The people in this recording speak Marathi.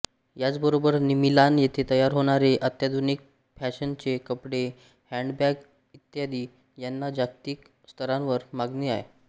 याचबरोबर मिलान येथे तयार होणारे अत्याधुनिक फॅशनचे कपडे हॅंडबॅग इ यांना जागतिक स्तरावर मागणी आहे